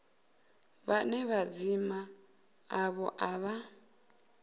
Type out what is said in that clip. vhane madzina avho a vha